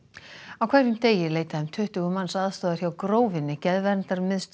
á hverjum degi leita um tuttugu manns aðstoðar hjá Grófinni